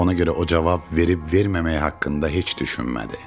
Ona görə o cavab verib-verməmək haqqında heç düşünmədi.